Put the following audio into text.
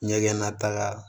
Ɲɛgɛn nata